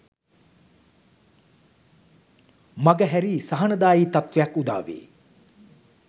මගහැරී සහනදායී තත්ත්වයක් උදාවේ.